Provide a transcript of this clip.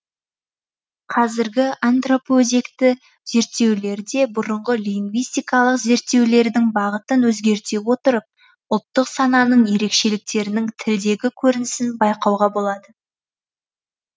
қазіргі антропоөзекті зерттеулерде бұрынғы лингвистикалық зерттеулердің бағытын өзгерте отырып ұлттық сананың ерекшеліктерінің тілдегі көрінісін байқауға болады